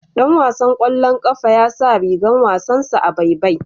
Ɗan wasan kwallon kafa ya sa rigan wasansa a baibai.